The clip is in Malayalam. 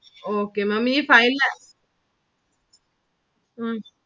Okay Maám ഈ five la ഉം